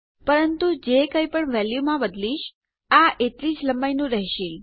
પરંતુ જે કઈપણ વેલ્યુ માં બદલીશ આ એટલી જ લંબાઈનું રહેશે